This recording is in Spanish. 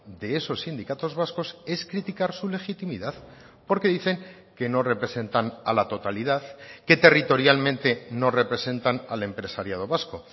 de esos sindicatos vascos es criticar su legitimidad porque dicen que no representan a la totalidad que territorialmente no representan al empresariado vasco